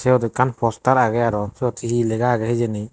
siyot ekkan postar agey aro siyot hee hee lega age hijeni.